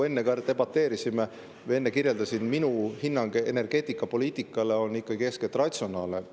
Enne ma kirjeldasin, et minu hinnang energeetikapoliitikale on eeskätt ikkagi ratsionaalne.